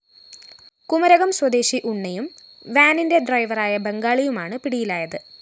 കുമരകം സ്വദേശി ഉണ്ണിയും വാനിന്റെ ഡ്രൈവറായ ബംഗാളി യുമാണ് പിടിയിലായത്